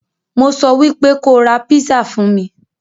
Mo sọ wípé kóo ra písà fún mí.